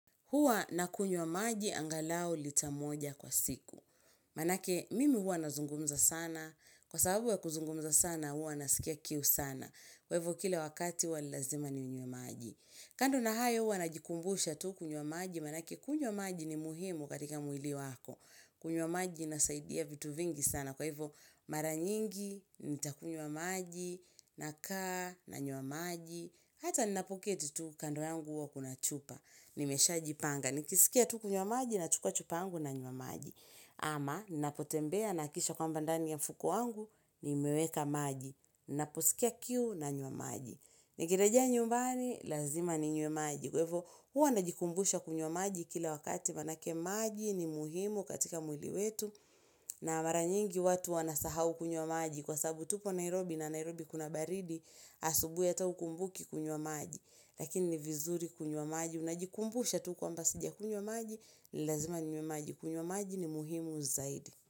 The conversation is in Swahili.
Huwa nakunywa maji angalau lita moja kwa siku. Maanake, mimi huwa nazungumza sana. Kwa sababu ya kuzungumza sana, huwa nasikia kiu sana. Kwa hivyo, kila wakati huwa ni lazima ninywe maji. Kando na hayo huwa najikumbusha tu kunywa maji. Maanake, kunywa maji ni muhimu katika mwili wako. Kunywa maji inasaidia vitu vingi sana. Kwa hivyo, mara nyingi, nitakunywa maji, nakaa, nanywa maji. Hata ninapoketi tu, kando yangu huwa kuna chupa. Nimesha jipanga, nikisikia tu kunywa maji na chukua chupa yangu nanywa maji. Ama, ninapotembea, nahakikisha kwamba ndani ya mfuko wangu, nimeweka maji. Ninaposikia kiu nanywa maji. Nikirejea nyumbani, lazima ninywe maji. Kwahivyo, huwa najikumbusha kunywa maji kila wakati maanake maji ni muhimu katika mwili wetu, na maranyingi watu wanasahau kunywa maji, kwasabu tupo Nairobi na Nairobi kuna baridi, asubuhi hata hukumbuki kunywa maji, lakini ni vizuri kunywa maji. Unajikumbusha tu kwamba sijakunywa maji, lazima ninywe maji. Kunywa maji ni muhimu zaidi.